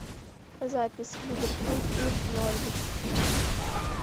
запись ливерпуль и норвич